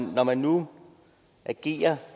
når man nu agerer